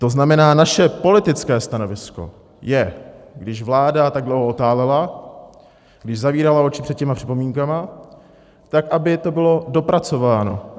To znamená, naše politické stanovisko je, když vláda tak dlouho otálela, když zavírala oči před těmi připomínkami, tak aby to bylo dopracováno.